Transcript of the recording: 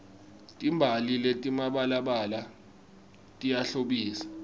timbali letimabalabala tiyahlobisa